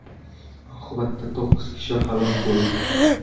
Oqibatda to‘qqiz kishi halok bo‘ldi.